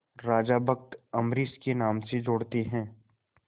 राजा भक्त अम्बरीश के नाम से जोड़ते हैं